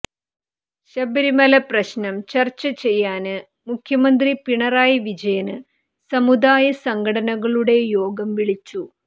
ശബരിമല പ്രശ്നം ചര്ച്ച ചെയ്യാന് മുഖ്യമന്ത്രി പിണറായി വിജയന് സമുദായ സംഘടനകളുടെ യോഗം വിളിച്ചു